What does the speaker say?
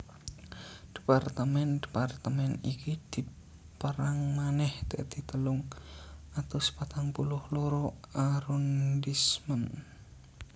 Departemen departemen iki dipérang manèh dadi telung atus patang puluh loro arrondissement